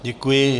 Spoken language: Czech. Děkuji.